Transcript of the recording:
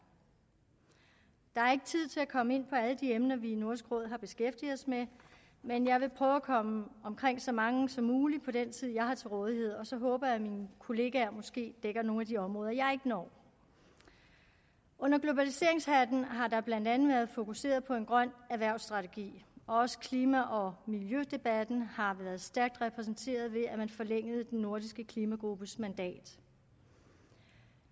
der er ikke tid til at komme ind på alle de emner som vi i nordisk råd har beskæftiget os med men jeg vil prøve at komme omkring så mange som muligt på den tid jeg har til rådighed og så håber jeg at mine kollegaer måske dækker nogle af de områder jeg ikke når under globaliseringshatten har der blandt andet været fokuseret på en grøn erhvervsstrategi og også klima og miljødebatten har været stærkt repræsenteret ved at man forlængede den nordiske klimagruppes mandat